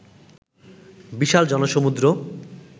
বিশাল জনসমূদ্র